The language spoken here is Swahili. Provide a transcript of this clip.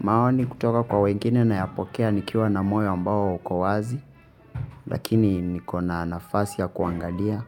Maoni kutoka kwa wengine nayapokea nikiwa na moyo ambao ukowazi lakini niko na nafasi ya kuangalia